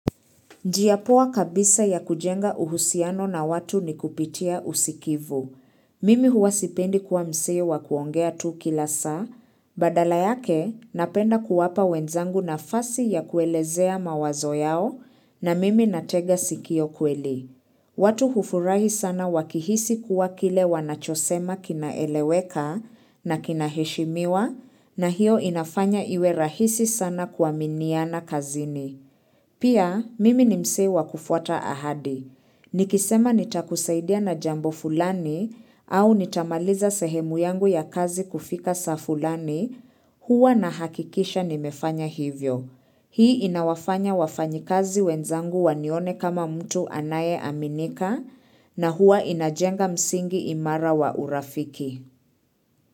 Njia poa kabisa ya kujenga uhusiano na watu ni kupitia usikivu. Mimi huwa sipendi kuwa msee wa kuongea tu kila saa, badala yake napenda kuwapa wenzangu nafasi ya kuelezea mawazo yao na mimi natega sikio kweli. Watu hufurahi sana wakihisi kuwa kile wanachosema kinaeleweka na kinaheshimiwa na hiyo inafanya iwe rahisi sana kuaminiana kazini. Pia, mimi ni msee wa kufuata ahadi. Nikisema nitakusaidia na jambo fulani au nitamaliza sehemu yangu ya kazi kufika saa fulani huwa nahakikisha nimefanya hivyo. Hii inawafanya wafanyikazi wenzangu wanione kama mtu anayeaminika na hua inajenga msingi imara wa urafiki.